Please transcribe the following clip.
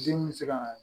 Denw bɛ se ka